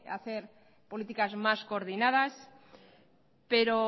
hacer políticas más coordinadas pero